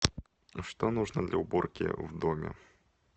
что нужно для уборки в доме